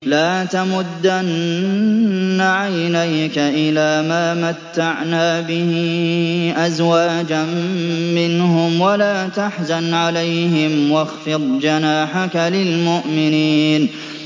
لَا تَمُدَّنَّ عَيْنَيْكَ إِلَىٰ مَا مَتَّعْنَا بِهِ أَزْوَاجًا مِّنْهُمْ وَلَا تَحْزَنْ عَلَيْهِمْ وَاخْفِضْ جَنَاحَكَ لِلْمُؤْمِنِينَ